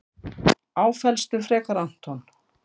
Áfellstu frekar Anton.